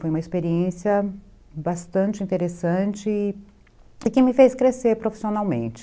Foi uma experiência bastante interessante e que me fez crescer profissionalmente.